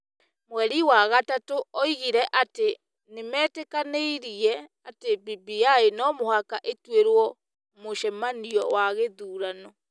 Mweri wa gatatũ oigire atĩ nĩ metĩkanĩire atĩ BBI no mũhaka ĩtuĩrwo mũcemanio wa gĩthurano